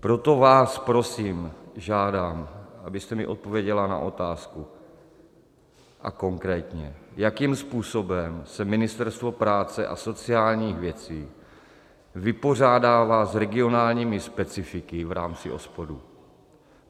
Proto vás prosím, žádám, abyste mi odpověděla na otázku, a konkrétně, jakým způsobem se Ministerstvo práce a sociálních věcí vypořádává s regionálními specifiky v rámci OSPODu.